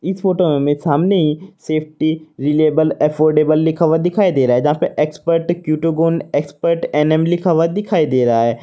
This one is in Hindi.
इस फोटो में हमें सामने ही सेफ्टी रिलायबल अफॉर्डेबल लिखा हुआ दिखाई दे रहा है यहां पर एक्सपर्ट क्यूटोगन एक्सपर्ट एन एम दिखाई दे रहा है।